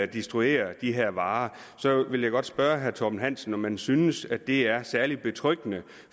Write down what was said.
destruere de her varer spørge herre torben hansen om han synes det er særlig betryggende